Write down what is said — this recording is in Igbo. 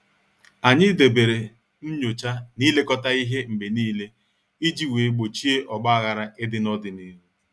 Anyị debere nyocha na ilekọta ihe mgbe niile iji wee gbochie ogbaghara ịdị n'ọdịnihu.